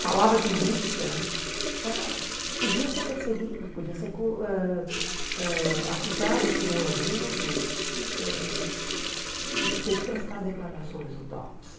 falava de Rússia, era podia ser perseguido, podia ser cu ãh ãh acusado por um aluno ãh e ter que prestar declarações no DOPS.